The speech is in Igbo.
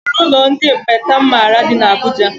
O nwere ụlọ ndị ekpenta m maara dị n' Abuja.